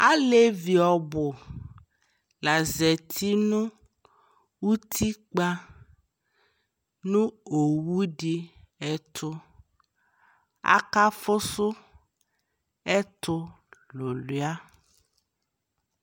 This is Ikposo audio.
Alevi ɔɔbʋ la zati nʋ utikpanʋ owu dι ɛtʋ Akafʋsʋɛtʋ alʋlyʋa